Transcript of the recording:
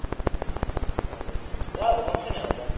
ಹಾ ಹಾಗೆ, ಯಾವಾಗ function ಯಾವಾಗ?